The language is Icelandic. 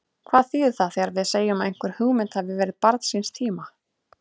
Hvað þýðir það þegar við segjum að einhver hugmynd hafi verið barn síns tíma?